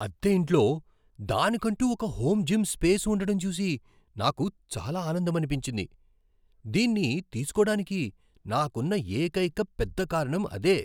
అద్దె ఇంట్లో దానికంటూ ఒక హోం జిమ్ స్పేస్ ఉండటం చూసి నాకు చాలా ఆనందమనిపించింది. దీన్ని తీసుకోడానికి నాకున్న ఏకైక పెద్ద కారణం అదే.